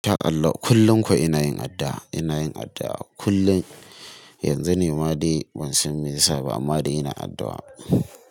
Ta Allah kullum kuwa ina yin addu'a, ina yin addu'a kullum. Yanzu ne ma dai ban san me ya saba amma dai ina addu'a.